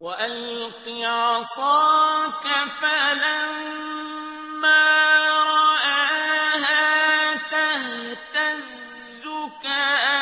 وَأَلْقِ عَصَاكَ ۚ فَلَمَّا رَآهَا تَهْتَزُّ كَأَنَّهَا